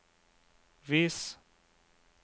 vis